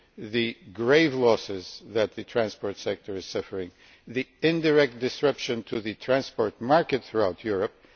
the grave losses that the transport sector is suffering and the indirect disruption to the transport market throughout Europe.